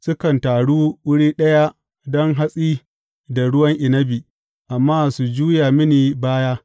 Sukan taru wurin ɗaya don hatsi da ruwan inabi amma su juya mini baya.